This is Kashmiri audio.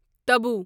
طبوع